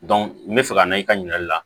n bɛ fɛ ka na i ka ɲininkali la